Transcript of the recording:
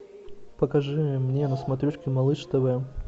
покажи мне на смотрешке малыш тв